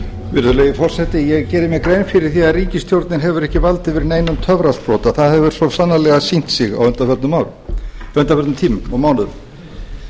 virðulegi forseti ég geri mér grein fyrir því að ríkisstjórnin hefur ekki vald yfir neinum töfrasprota það hefur svo sannarlega sýnt sig á undanförnum tímum og mánuðum